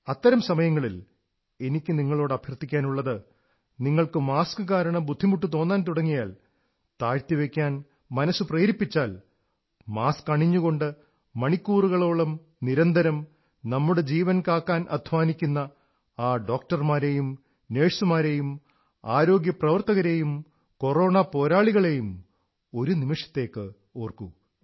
അത്തരം സമയങ്ങളിൽ എനിക്കു നിങ്ങളോട് അഭ്യർഥിക്കാനുള്ളത് നിങ്ങൾക്ക് മാസ്ക് കാരണം ബുദ്ധിമുട്ടു തോന്നാൻ തുടങ്ങിയാൽ താഴ്ത്തി വയ്ക്കാൻ മനസ്സ് പ്രേരിപ്പിച്ചാൽ മാസ്ക് അണിഞ്ഞുകൊണ്ട് മണിക്കൂറുകളോളം നിരന്തരം നമ്മുടെ ജീവൻ കാക്കാൻ അധ്വാനിക്കുന്ന ആ ഡോക്ടർമാരെ നേഴ്സുമാരെ ആരോഗ്യ പ്രവർത്തകരെ കൊറോണ പോരാളികളെ ഒരു നിമിഷത്തേക്ക് ഓർക്കൂ